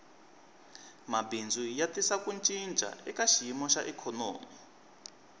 mabindzu ya tisa ku cinca eka xiyimo xa ikhonomi